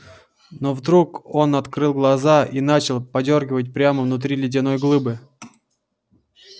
но вдруг он открыл глаза и начал подёргивать прямо внутри ледяной глыбы